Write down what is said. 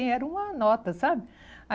Era uma nota, sabe?